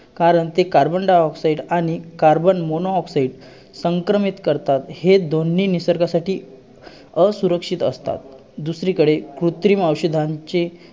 कारण ते carbon dioxide आणि carbon monoxide संक्रमित करतात. हे दोन्ही निसर्गासाठी असुरक्षित असतात. दुसरीकडे, कृत्रिम औषधांचे